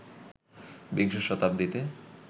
বিংশ শতাব্দীতে